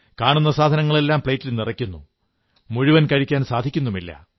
കാണുന്ന സാധനങ്ങളെല്ലാം പ്ലേറ്റിൽ നിറയ്ക്കുന്നു മുഴുവൻ കഴിക്കാൻ സാധിക്കുന്നുമില്ല